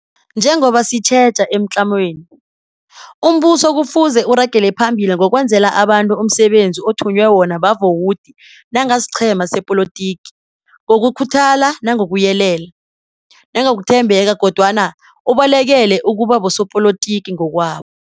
Njengoba sitjheja emtlamweni, umbuso kufuze uragele phambili ngokwenzela abantu umsebenzi othunywe wona bavowudi nangasiqhema sepolitiki, ngokukhuthala nangokuyelela, nangokuthembeka, kodwana ubalekele ukubabosopolitiki ngokwabo.